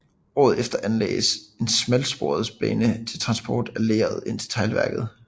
Året efter anlagdes en smalsporsbane til transport af leret ind til teglværket